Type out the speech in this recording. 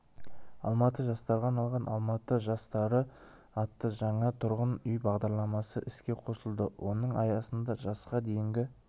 алматыда жастарға арналған алматы жастары атты жаңа тұрғын үй бағдарламасы іске қосылды оның аясында жасқа дейінгі